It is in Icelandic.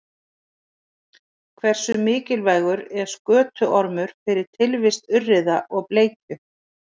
Hversu mikilvægur er skötuormur fyrir tilvist urriða og bleikju?